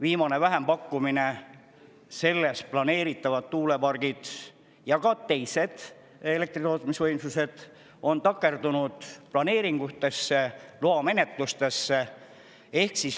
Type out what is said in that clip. Viimases vähempakkumises planeeritud tuuleparkide, aga ka teiste elektritootmisvõimsuste on takerdunud planeeringu- ja loamenetluste tõttu.